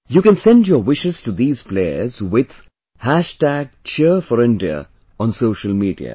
You can send your wishes to these players with Cheer4India on social media